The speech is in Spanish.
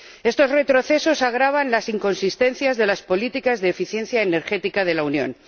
Estos retrocesos agravan las inconsistencias de las políticas de eficiencia energética de la Unión.